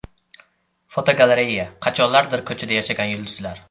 Fotogalereya: Qachonlardir ko‘chada yashagan yulduzlar.